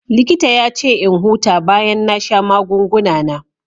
Likita ya ce in huta bayan na sha magunguna na.